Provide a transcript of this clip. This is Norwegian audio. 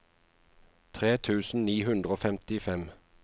tre tusen ni hundre og femtifem